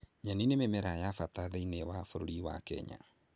Nyeni nĩ mĩmera wa bata thĩiniĩ wa bũrũri wa Kenya